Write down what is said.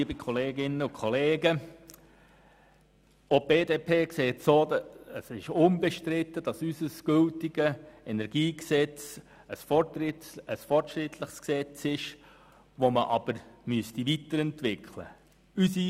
Auch für die BDP ist unbestritten, dass unser gültiges, heute bestehendes Energiegesetz fortschrittlich ist und man es nun weiterentwickeln sollte.